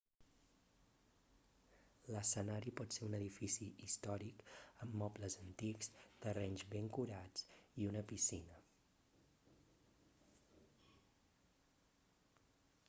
l'escenari pot ser un edifici històric amb mobles antics terrenys ben curats i una piscina